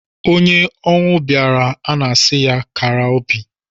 Onye ọnwụ bịaara a sị ya kara obi.